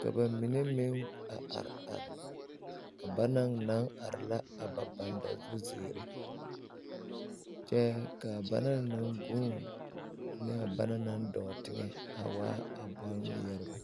ka ba mine meŋ a are are a banaŋ naŋ are la a ba bandazuziiri kyɛ ka banaŋ naŋ ɡuune ane a banaŋ naŋ dɔɔ teŋɛ a waa a bolŋmeɛrebɛ.